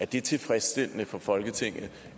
det er tilfredsstillende for folketinget